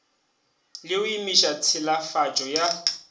le go emiša tšhilafatšo ya